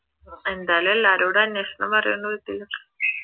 എന്തായാലും എല്ലാരോടും അന്വേഷണം